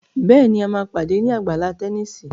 Béèni a má pàdé ní Àgbàlá Tẹníìsì.